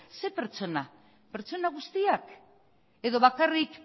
zein pertsona pertsona guztiak edo bakarrik